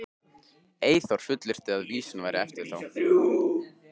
Eyþór fullyrti að vísan væri eftir þá